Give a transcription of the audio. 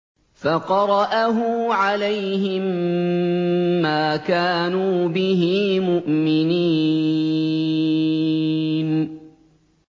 فَقَرَأَهُ عَلَيْهِم مَّا كَانُوا بِهِ مُؤْمِنِينَ